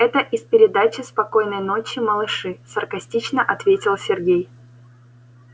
это из передачи спокойной ночи малыши саркастично ответил сергей